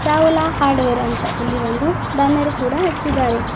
Chawla hardware ಅಂತ ಇಲ್ಲಿ ಒಂದು ಬ್ಯಾನರ್ ಕೂಡ ಹಚ್ಚಿದ್ದಾರೆ.